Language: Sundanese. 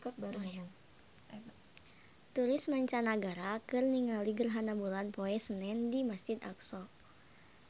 Turis mancanagara keur ningali gerhana bulan poe Senen di Masjid Aqsa